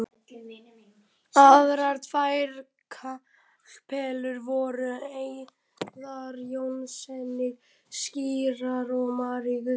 Aðrar tvær kapellur voru helgaðar Jóhannesi skírara og Maríu guðsmóður.